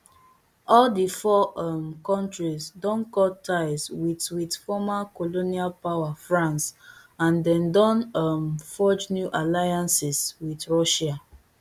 all di four um kontris don cut ties wit wit former colonial power france and dem don um forge new alliances wit russia